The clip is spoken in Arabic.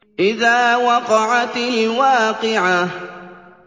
إِذَا وَقَعَتِ الْوَاقِعَةُ